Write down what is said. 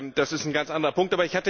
Das ist ein ganz anderer Punkt.